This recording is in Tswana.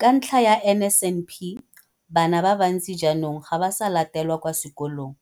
Ka ntlha ya NSNP, bana ba bantsi jaanong ga ba sa latelwa kwa sekolong